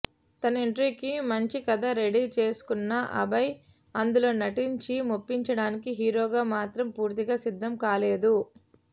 తన ఎంట్రీకి మంచి కథ రెడీ చేసుకున్న అభయ్ అందులో నటించి మెప్పించడానికి హీరోగా మాత్రం పూర్తిగా సిద్ధం కాలేదు